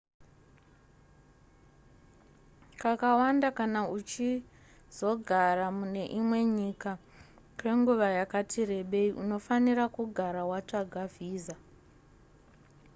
kakawanda kana uchizogara mune imwe nyika kwenguva yakati rebei unofanira kugara watsvaga visa